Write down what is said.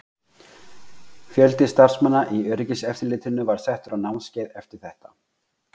Fjöldi starfsmanna í öryggiseftirlitinu var settur á námskeið eftir þetta?